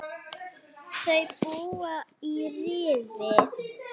Þau búa í Rifi.